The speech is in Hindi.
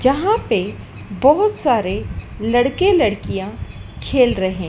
यहां पे बहुत सारे लड़के लड़कियां खेल रहे--